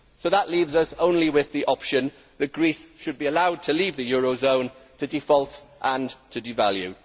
That leaves us only with the option that Greece should be allowed to leave the eurozone, to default and to devalue.